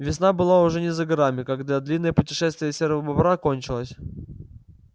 весна была уже не за горами когда длинное путешествие серого бобра кончилось